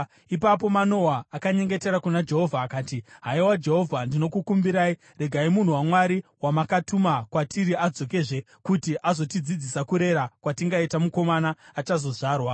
Ipapo Manoa akanyengetera kuna Jehovha akati, “Haiwa Jehovha, ndinokukumbirai, regai munhu waMwari wamakatuma kwatiri adzokezve kuti azotidzidzisa kurera kwatingaita mukomana achazozvarwa.”